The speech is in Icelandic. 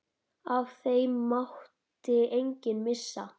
Af þeim mátti enginn missa.